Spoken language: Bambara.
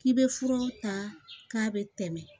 K'i bɛ fura ta k'a bɛ tɛmɛ